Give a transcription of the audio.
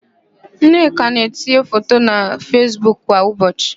Nneka na-etinye foto na Fesbuk kwa ụbọchị.